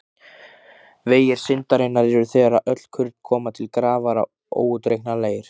Vegir syndarinnar eru þegar öll kurl koma til grafar óútreiknanlegir.